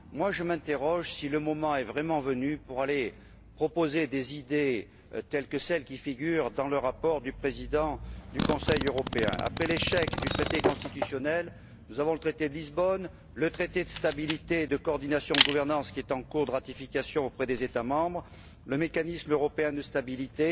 Je me demande si le moment est vraiment venu de proposer des idées, telles que celles qui figurent dans le rapport du Président du Conseil européen. Après l'échec du traité constitutionnel, nous avons le traité de Lisbonne, le traité de stabilité et de coordination de la gouvernance, en cours de ratification auprès des États membres, le mécanisme de stabilité